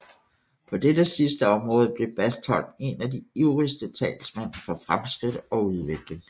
På dette sidste område blev Bastholm en af de ivrigste talsmænd for fremskridt og udvikling